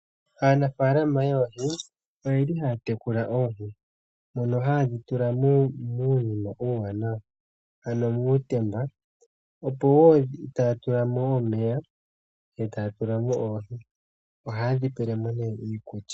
Aanafalama yoohi oyeli haya tekula oohi mono hayedhi tula muunima uuwanawa ano muutemba, etaya tula mo omeya etaya tula mo oohi, ohaye dhi pele mo nee ikulya.